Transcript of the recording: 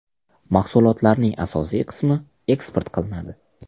Mahsulotlarning asosiy qismi eksport qilinadi.